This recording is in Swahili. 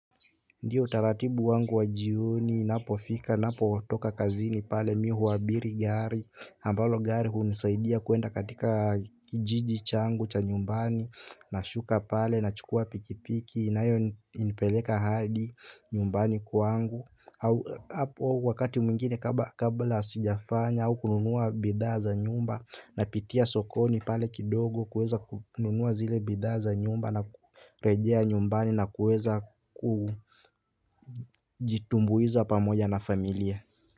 Ndiyo utaratibu wangu wa jioni, inapofika, ninapo toka kazini pale mimi huabiri gari ambalo gari hunisaidia kuenda katika kijiji changu cha nyumbani. Nashuka pale, na chukua pikipiki, inayo nipeleka hadi nyumbani kwangu hapo wakati mwingine kabla sijafanya au kununua bidhaa za nyumba. Napitia sokoni pale kidogo, kununua zile bidhaa nyumba na kurejea nyumbani na kueza kujitumbuiza pamoja na familia.